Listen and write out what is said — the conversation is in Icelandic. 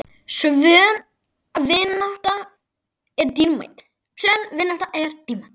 Sönn vinátta er dýrmæt.